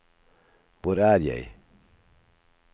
hvor er jeg